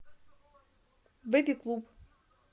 бэби клуб